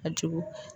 A jugu